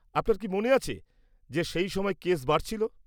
আপনার কি মনে আছে যে সেই সময় কেস বাড়ছিল?